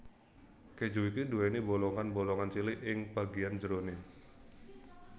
Keju iki duwéni bolongan bolongan cilik ing bagian jeroné